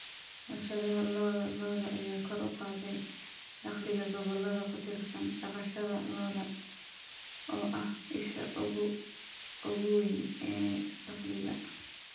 Warshadaha lo'da lo'da ayaa kor u qaaday dakhliga gobollada ku tiirsan dhaqashada lo'da oo ah isha ugu weyn ee dakhliga.